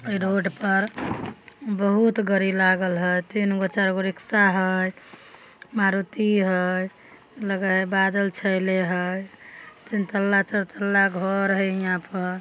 Road पर बहुत गाड़ी लागल हेय। तीन गो चार गो रिक्शा हेय। मारुती हेय। लगाये बादल छाईले हेय। तीन तल्ला चार तल्ला घर हेय यहाँ पर।